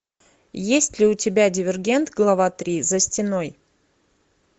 есть ли у тебя дивергент глава три за стеной